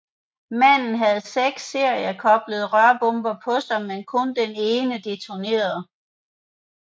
Manden havde seks seriekoblede rørbomber på sig men kun den ene detonerede